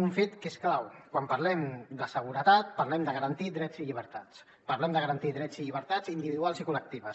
un fet que és clau quan parlem de seguretat parlem de garantir drets i llibertats parlem de garantir drets i llibertats individuals i col·lectives